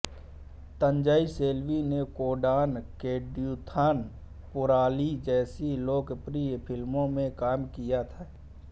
तंजई सेल्वी ने कोंडान कोडुथन पोराली जैसी लोकप्रिय फिल्मों में काम किया है